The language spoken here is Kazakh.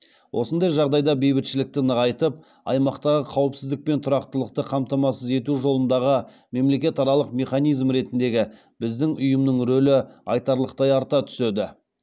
осындай жағдайда бейбітшілікті нығайтып аймақтағы қауіпсіздік пен тұрақтылықты қамтамасыз ету жолындағы мемлекет аралық механизм ретіндегі біздің ұйымның рөлі айтарлықтай арта түседі